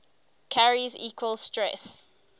carries equal stress